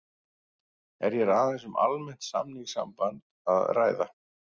Er hér aðeins um almennt samningssamband að ræða.